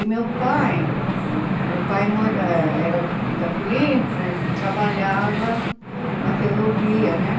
E meu pai, meu pai mora eh era de de Campo Limpo e trabalhava na ferrovia, né?